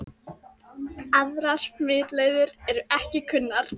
Aðrar smitleiðir eru ekki kunnar.